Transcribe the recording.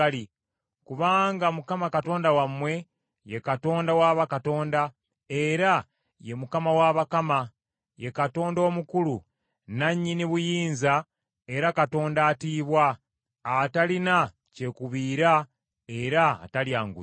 Kubanga Mukama Katonda wammwe ye Katonda wa bakatonda, era ye Mukama w’abakama, ye Katonda omukulu, nannyini buyinza era Katonda atiibwa, atalina kyekubiira, era atalya nguzi.